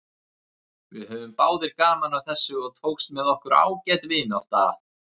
Við höfðum báðir gaman af þessu og tókst með okkur ágæt vinátta.